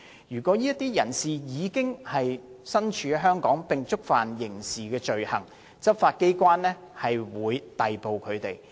如果這些人士已身處香港並觸犯刑事罪行，執法機構會逮捕他們。